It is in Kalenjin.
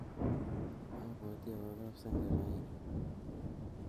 Apwoti awo kap senge raini